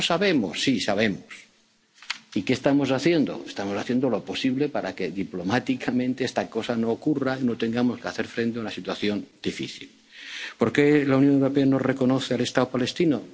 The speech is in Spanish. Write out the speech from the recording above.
avestruz. No, no sabemos. Sí, sabemos. ¿Y qué estamos haciendo? Estamos haciendo lo posible para que diplomáticamente estas cosas no ocurran y no tengamos que hacer frente a una situación difícil. ¿Por qué la Unión Europea no reconoce al Estado